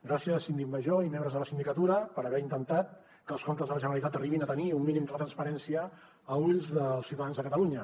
gràcies síndic major i membres de la sindicatura per haver intentat que els comptes de la generalitat arribin a tenir un mínim de transparència a ulls dels ciutadans de catalunya